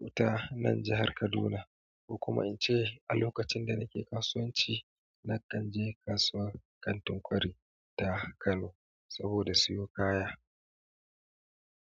wuta nan jihar Kaduna. Kuma in ce a lokacin da nake kasuwanci na kan je kasuwar Kantin kwari ta Kano saboda siyo kaya.